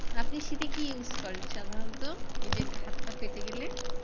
আপনি শীতে কি use করেন সাধারণত এই যে হাত-পা ফেটে গেলে?